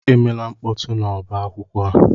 Emela mkpọtụ n'ọba akwụkwọ a!